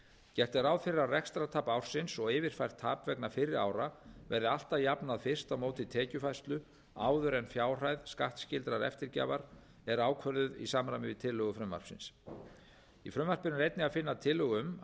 gert er ráð fyrir að rekstrartap ársins og yfirfært tap vegna fyrri ára verði alltaf jafnað fyrst á móti tekjufærslu áður en fjárhæð skattskyldrar eftirgjafar er ákvörðuð í samræmi við tillögu frumvarpsins í frumvarpinu er einnig að finna tillögu um að